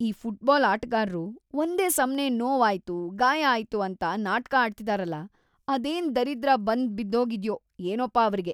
ಈ ಫುಟ್ಬಾಲ್ ಆಟಗಾರ್ರು ಒಂದೇ ಸಮ್ನೇ ನೋವಾಯ್ತು, ಗಾಯ ಆಯ್ತು ಅಂತ ನಾಟ್ಕ ಆಡ್ತಿದಾರಲ, ಅದೇನ್‌ ದರಿದ್ರ ಬಂದ್ಬಿದ್ದೋಗಿದ್ಯೋ ಏನೋಪ ಅವ್ರಿಗೆ.